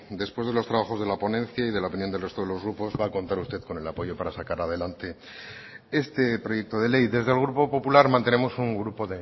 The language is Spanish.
después de los trabajos de la ponencia y de la opinión del resto de los grupos va a contar usted con el apoyo para sacar adelante este proyecto de ley desde el grupo popular mantenemos un grupo